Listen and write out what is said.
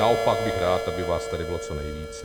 Naopak bych rád, aby vás tady bylo co nejvíce.